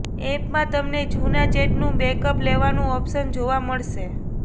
એપમાં તમને જૂના ચેટનું બેકઅપ લેવાનું ઓપ્શન જોવા મળશે